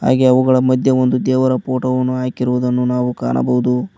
ಹಾಗೇ ಅವುಗಳ ಮಧ್ಯೆ ಒಂದು ದೇವರ ಫೋಟೋ ವನ್ನು ಹಾಕಿರುವುದನ್ನು ನಾವು ಕಾಣಬಹುದು.